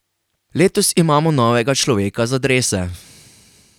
Letos imamo novega človeka za drese.